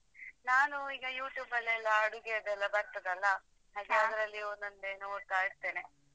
ನಾನು ಈಗ YouTube ಲೆಲ್ಲಾ ಅಡುಗೆದೆಲ್ಲಾ ಬರ್ತದಲ್ಲಾ ಅದರಲ್ಲಿ ಒಂದೊಂದೆ ನೋಡ್ತಾ ಇರ್ತೇನೆ.